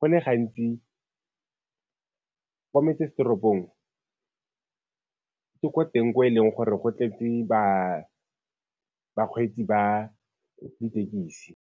go le gantsi kwa metsesetoropong ke ko teng ko e leng gore go tletse bakgweetsi ba ditekisi.